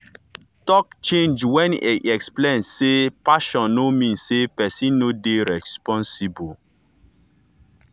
talk change when e explain say passion no mean say person no dey responsible.